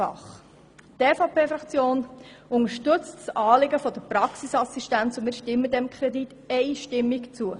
Die EVP-Fraktion unterstützt das Anliegen der Praxisassistenz und stimmt dem Kredit einstimmig zu.